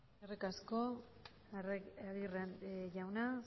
aguirre jauna